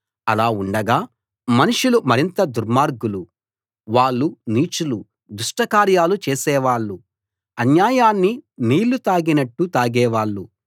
అలా ఉండగా మనుషులు మరింత దుర్మార్గులు వాళ్ళు నీచులు దుష్టకార్యాలు చేసేవాళ్ళు అన్యాయాన్ని నీళ్ళు తాగినట్టు తాగేవాళ్లు